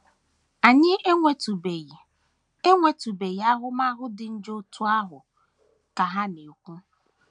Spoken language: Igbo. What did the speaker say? “ Anyị enwetụbeghị enwetụbeghị ahụmahụ dị njọ otú ahụ, ” ka ha na - ekwu.